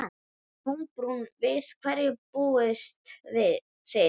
Kolbrún, við hverju búist þið?